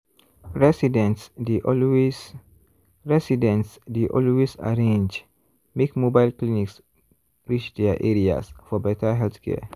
residents dey always residents dey always arrange make mobile clinics reach their areas for better healthcare.